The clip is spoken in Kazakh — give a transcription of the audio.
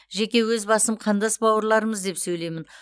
жеке өз басым қандас бауырларымыз деп сөйлеймін